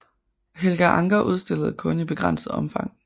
Helga Ancher udstillede kun i begrænset omfang